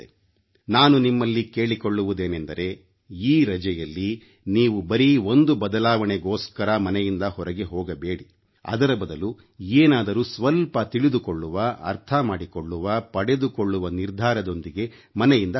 ನಾನು ನಿಮ್ಮಲ್ಲಿ ಕೇಳಿಕೊಳ್ಳುವುದೇನೆಂದರೆ ಈ ರಜೆಯಲ್ಲಿ ನೀವು ಬರೀ ಒಂದು ಬದಲಾವಣೆಗೋಸ್ಕರ ಮನೆಯಿಂದ ಹೊರಗೆ ಹೋಗಬೇಡಿ ಅದರ ಬದಲು ಏನಾದರೂ ಸ್ವಲ್ಪ ತಿಳಿದುಕೊಳ್ಳುವ ಅರ್ಥಮಾಡಿಕೊಳ್ಳುವ ಪಡೆದುಕೊಳ್ಳುವ ನಿರ್ಧಾರದೊಂದಿಗೆ ಮನೆಯಿಂದ ಹೊರಡಿ